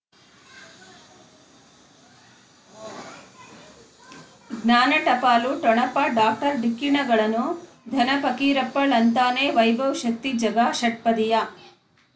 ಜ್ಞಾನ ಟಪಾಲು ಠೊಣಪ ಡಾಕ್ಟರ್ ಢಿಕ್ಕಿ ಣಗಳನು ಧನ ಫಕೀರಪ್ಪ ಳಂತಾನೆ ವೈಭವ್ ಶಕ್ತಿ ಝಗಾ ಷಟ್ಪದಿಯ